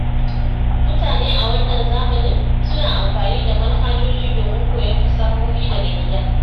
Mutane a wannan zamanin suna amfani da manhajoji domin koyon fasahohi daga gida.